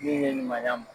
Min ye nin ma ɲ'a ye